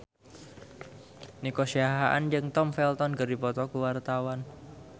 Nico Siahaan jeung Tom Felton keur dipoto ku wartawan